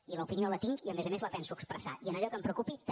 i l’opinió la tinc i a més a més la penso expressar i en allò que em preocupi també